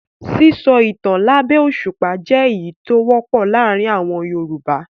Sísọ ìtan lábẹ́ òṣùpá jẹ́ èyí tó wọ́pọ̀ láàárin àwọn Yorùbá.